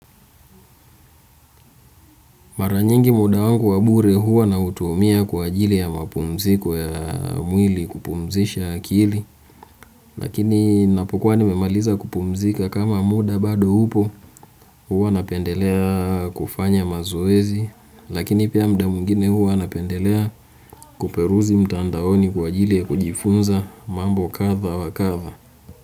Mara nyingi muda wangu wa bure huwa nautumia kwa ajili ya mapumziko ya mwili, kupumzisha akili, lakini napokuwa nimemaliza kupumzika kama muda bado upo huwa napendelea kufanya mazoezi, lakini pia muda mwingine huwa napendelea kuperuzi mtandaoni kwa ajili ya kujifunza mambo kadha wa kadha.